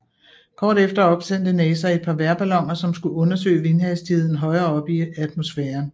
Kort efter opsendte NASA et par vejrballoner som skulle undersøge vindhastigheden højere oppe i atmosfæren